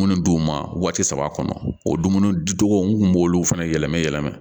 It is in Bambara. Minnu d'u ma waati saba kɔnɔ o dumuni dicogo n'u b'olu fana yɛlɛmɛ yɛlɛma